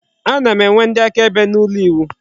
A na-enwe ndị akaebe n'ụlọ iwu.